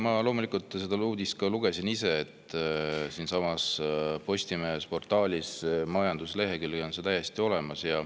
Ma loomulikult lugesin seda uudist ise ka, Postimehe portaali majandusleheküljel on see täiesti olemas.